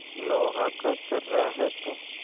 लोहा का छर्रा है तू